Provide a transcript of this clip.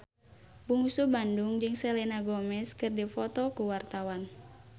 Bungsu Bandung jeung Selena Gomez keur dipoto ku wartawan